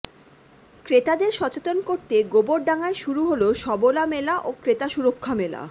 ক্রেতাদের সচেতন করতে গোবরডাঙ্গায় শুরু হল সবলা মেলা ও ক্রেতা সুরক্ষা মেলা